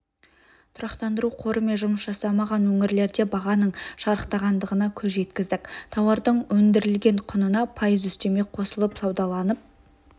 тұрақтандыру қорымен жұмыс жасамаған өңірлерде бағаның шарықтағандығына көз жеткіздік тауардың өндірілген құнына пайыз үстеме қосылып саудаланып